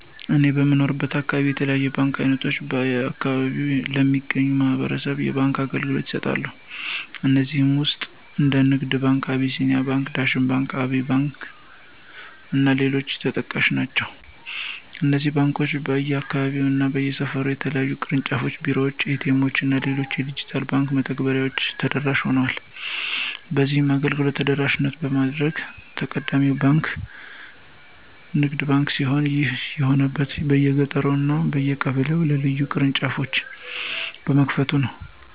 እኔ በምኖርበት አካባቢ የተለያዩ የባንክ አይነቶች በአከባቢው ለሚገኙ ማህበረሰብ የባንክ አገልግሎቶችን ይሰጣሉ። ከነዚህም ውስጥ እንደ ንግድ ባንክ፣ አቢሲኒያ ባንክ፣ ዳሽን ባንክ፣ አባይ ባንክ እና ሌሎችም ተጠቃሽ ናቸው። እነዚህ ባንኮች በየአካባቢው እና በየሰፈሩ የተለያዩ የቅርንጫፍ ቢሮዎች፣ ኤ.ቲ. ኤምዎች እና ሌሎች የዲጂታል የባንክ መተግበሬዎችን ተደራሽ ሆኗል። በዚህም አገልግሎቱን ተደራሽ በማድረግ ቀዳሚው ባንክ ንግድ ባንክ ሲሆን ይህም የሆነበት በየገጠሩ እና በየቀበሌው የተለያዩ ቅርንጫፎችን በመክፈቱ ነው።